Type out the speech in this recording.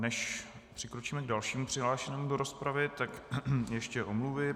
Než přikročíme k dalšímu přihlášenému do rozpravy, tak ještě omluvy.